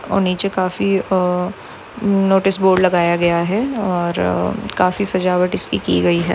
ओ नीचे काफी अ म् नोटिस बोर्ड लगाया गया है और अ काफी सजावट इसकी की गई है।